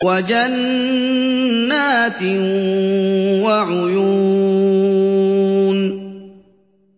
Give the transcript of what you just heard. وَجَنَّاتٍ وَعُيُونٍ